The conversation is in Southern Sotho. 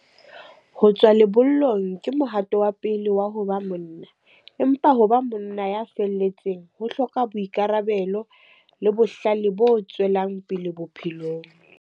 Ho tswa lebollong ke mohato wa pele wa ho ba monna, empa ho ba monna ya felletseng ho hloka boikarabelo le bohlale bo tswelang pele bophelong.